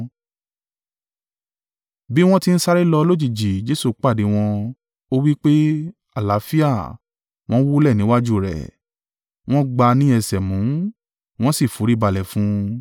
Bí wọ́n ti ń sáré lọ lójijì Jesu pàdé wọn. Ó wí pé, “Àlàáfíà”, wọ́n wólẹ̀ níwájú rẹ̀. Wọ́n gbá a ní ẹsẹ̀ mú. Wọ́n sì foríbalẹ̀ fún un.